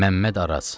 Məmməd Araz.